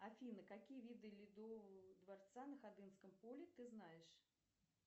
афина какие виды ледового дворца на ходынском поле ты знаешь